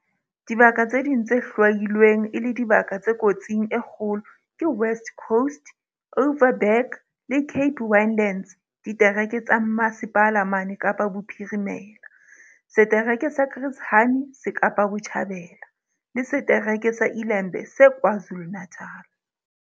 Dibaka tse ding tse hlwailweng e le dibaka tse kotsing e kgolo ke West Coast, Overberg le Cape Winelands ditereke tsa Mmasepala mane Kapa Bophirimela, setereke sa Chris Hani se Kapa Botjhabela, le setereke sa iLembe se KwaZulu-Natala.